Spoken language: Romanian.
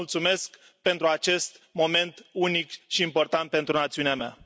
Vă mulțumesc pentru acest moment unic și important pentru națiunea mea.